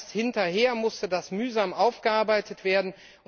Erst hinterher musste das mühsam aufgearbeitet werden.